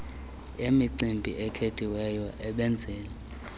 emicimbi ekhethekileyo abenzeli